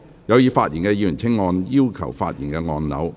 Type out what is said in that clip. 有意發言的議員請按"要求發言"按鈕。